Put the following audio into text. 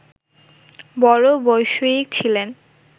বড়ো বৈষয়িক ছিলেন